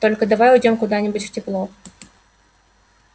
только давай уйдём куда-нибудь в тепло